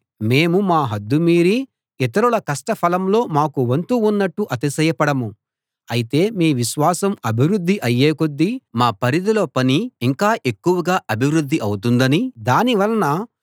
మేము మా హద్దు మీరి ఇతరుల కష్ట ఫలంలో మాకు వంతు ఉన్నట్టు అతిశయపడము అయితే మీ విశ్వాసం అభివృద్ధి అయ్యే కొద్దీ మా పరిధిలో పని ఇంకా ఎక్కువగా అభివృద్ది అవుతుందనీ దాని వలన